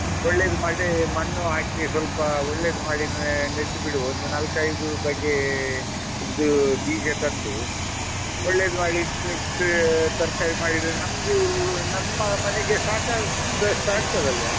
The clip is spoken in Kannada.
ಒಳ್ಳೆದು ಮಾಡಿ ಮಣ್ಣು ಹಾಕಿ ಸ್ವಲ್ಪ ಒಳ್ಳೆದು ಮಾಡಿ ನೆಟ್ಟು ಬಿಡುವ ಒಂದು ನಾಲ್ಕೈದು ಬಗೆದು ಬೀಜ ತಂದು, ಒಳ್ಳೆದು ಮಾಡಿ ನೆಟ್ರೆ ತರ್ಕಾರಿ ಮಾಡಿದ್ರೆ ನಮ್ಗೂ ನಮ್ಮ ಮನೆಗೆ ಸಾಕಾದಷ್ಟಾಗ್ತದಾಳ್ವ.